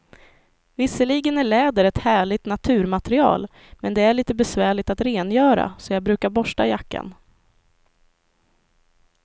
Visserligen är läder ett härligt naturmaterial, men det är lite besvärligt att rengöra, så jag brukar borsta jackan.